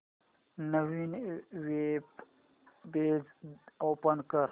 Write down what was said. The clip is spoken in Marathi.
नवीन वेब पेज ओपन कर